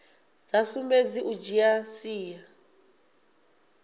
sa sumbedzi u dzhia sia